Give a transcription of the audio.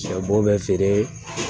Sɛ bo bɛ feere